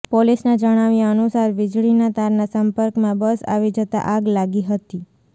પોલીસના જણાવ્યાં અનુસાર વીજળીના તારના સંપર્કમાં બસ આવી જતાં આગ લાગી હતી